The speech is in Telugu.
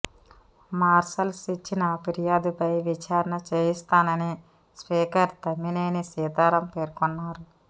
మార్షల్స్ ఇచ్చిన ఫిర్యాదుపై విచారణ చేయిస్తానని స్పీకర్ తమ్మినేని సీతారాం పేర్కొన్నారు